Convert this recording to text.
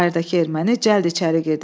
Bayırdakı erməni cəld içəri girdi.